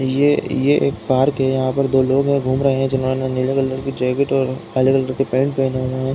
ये एक पार्क हैं। यहां पर दो लोग घूम रहे हैं जिन्होंने नीले कलर का जैकेट और हरे कलर का पैंट पहने हुए हैं।